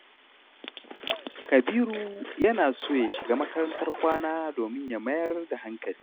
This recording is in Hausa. Kabiru yana so ya shiga makarantar kwana domin ya fi mayar da hankali.